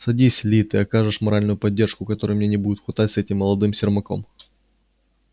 садись ли ты окажешь моральную поддержку которой мне не будет хватать с этим молодым сермаком